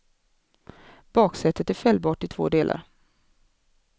Baksätet är fällbart i två delar.